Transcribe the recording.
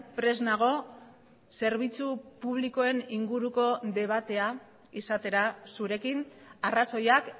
prest nago zerbitzu publikoen inguruko debatea izatera zurekin arrazoiak